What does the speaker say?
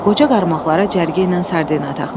Qoca qarmaqlara cərgə ilə sardina taxmışdı.